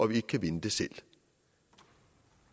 vi ikke kan vinde selv